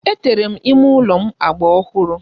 Etere m ime ụlọ agba ọhụrụ.